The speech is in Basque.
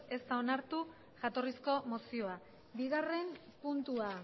ez da onartu jatorrizko mozioa bigarren puntua